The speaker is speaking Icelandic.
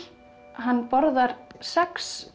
hann borðar sex